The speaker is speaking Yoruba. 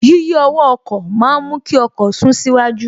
Yíyí ọwọ́ ọkọ̀ ma ń mú kí ọkọ̀ sún síwájú